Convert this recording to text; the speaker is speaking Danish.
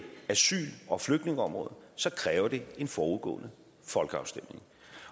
asyl og flygtningeområdet så kræver det en forudgående folkeafstemning